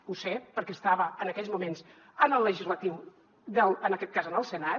ho sé perquè estava en aquells moments en el legislatiu en aquest cas en el senat